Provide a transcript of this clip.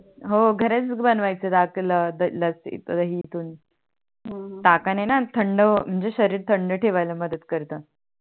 हो घरीच बनवयाच रकुला लसी दही इतरून हो हो ताकाणी णा थंड म्हणजे शरीर थंड ठेवला मदत करतो